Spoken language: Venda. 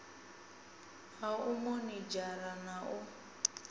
ha u monithara na u